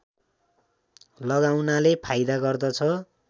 लगाउनाले फाइदा गर्दछ